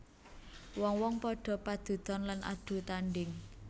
Wong wong padha padudon lan adu tandhing